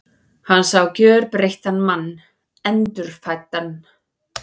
Hann sá gjörbreyttan mann, endurfæddan.